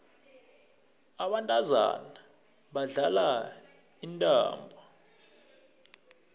abantazana badlala intambo